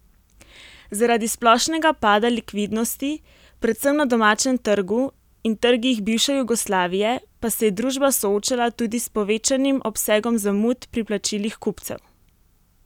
Zaradi splošnega pada likvidnosti predvsem na domačem trgu in trgih bivše Jugoslavije pa se je družba soočala tudi s povečanim obsegom zamud pri plačilih kupcev.